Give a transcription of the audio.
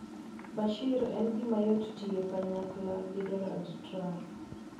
Bashir: En gimayot tiyo kanyakla gi Donald Trump